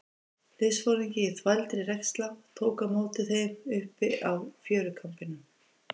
Liðsforingi í þvældri regnslá tók á móti þeim uppi á fjörukambinum.